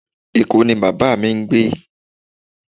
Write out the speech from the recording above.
Eko ni baba mi ngbe